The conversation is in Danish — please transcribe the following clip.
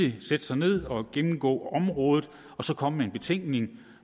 at sætte sig ned og gennemgå området og så komme med en betænkning